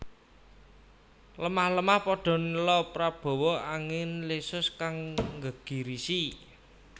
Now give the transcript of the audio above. Lemah lemah padha nela prabawa angin lesus kang nggegirisi